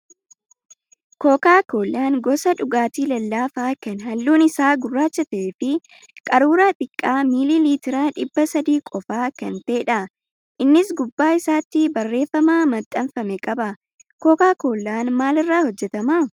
Kookaa kollaan gosa dhugaatii lallaafaa kan halluun isaa gurraacha ta'ee fi qaruuraa xiqqaa miilii liitira dhibba sadii qofaa kan ta'edha. Innis gubbaa isaatti barreeffama maxxanfame qaba. Kookaa kollaan maalirraa hojjatamaa?